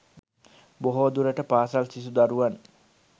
බොහෝ දුරට පාසල් සිසු දරුවන්